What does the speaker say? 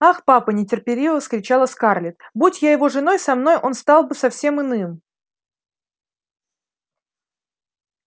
ах папа нетерпеливо вскричала скарлетт будь я его женой со мной он стал бы совсем иным